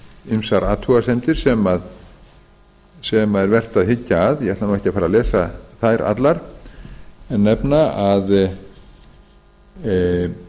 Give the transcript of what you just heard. ýmsar athugasemdir sem er vert að hyggja að ég ætla ekki á fara að lesa þær allar en